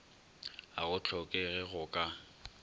ga go hlokege go ka